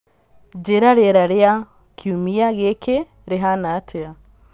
njĩĩra rĩera rĩa kiumia gĩkĩ rĩhana atĩa